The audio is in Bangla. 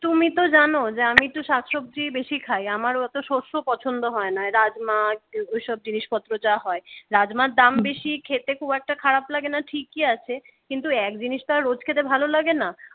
তুমি তো জানো যে আমি একটু শাকসবজি বেশি খাই আমার অতো শস্য পছন্দ হয় না রাজমা ওসব জিনিস পত্র যা হয় রাজমারা দাম বেশি খেতে খুব একটা খারাপ লাগে না ঠিকই আছে কিন্তু এক জিনিস তো আর রোজ খেতে ভালো লাগে না